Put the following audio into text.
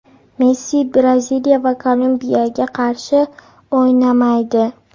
Messi Braziliya va Kolumbiyaga qarshi o‘ynamaydi.